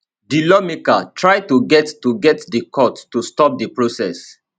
di lawmaker try to get to get di court to stop di process